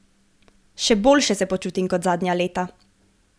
Še boljše se počutim kot zadnja leta.